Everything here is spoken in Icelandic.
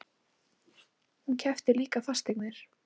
Hún keypti líka fasteignir.